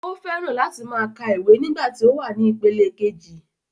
O fẹ́ran láti máa ka ìwé nígbà tí ó wà ní ipele kejì